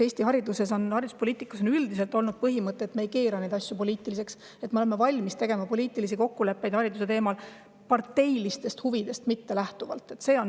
Eesti hariduspoliitikas on üldiselt olnud põhimõte, et me ei keera asju poliitiliseks ja oleme hariduse teemal valmis poliitilisi kokkuleppeid tegema parteilistest huvidest mitte lähtudes.